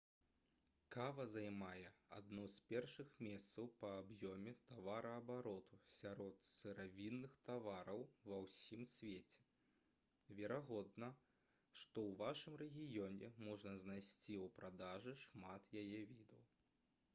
кава займае адно з першых месцаў па аб'ёме тавараабароту сярод сыравінных тавараў ва ўсім свеце верагодна што ў вашым рэгіёне можна знайсці ў продажы шмат яе відаў